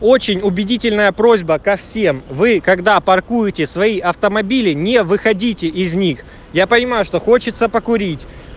очень убедительная просьба ко всем вы когда паркуете свои автомобили не выходите из них я понимаю что хочется покурить